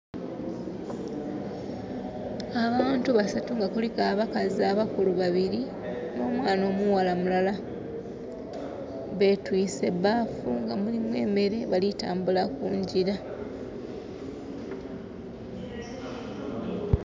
Abantu basatu nga kuliku abakazi abakulu babiri nho mwana omughala mulala betwise baafu nga mulimu emere bali kutambula kungira.